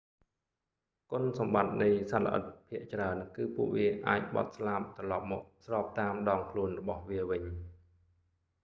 គុណសម្បត្តិនៃសត្វល្អិតភាគច្រើនគឺ ពួកវាអាចបត់ស្លាបត្រឡប់មកស្របតាមដងខ្លួនរបស់វាវិញ